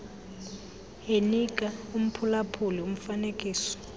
enika umphulaphuli umfanekiso